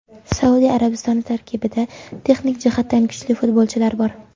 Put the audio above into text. Saudiya Arabistoni tarkibida texnik jihatdan kuchli futbolchilar bor.